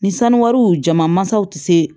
Ni sanu jama mansaw tɛ se